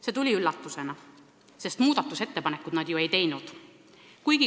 See tuli üllatusena, sest muudatusettepanekuid nad ju ei teinud.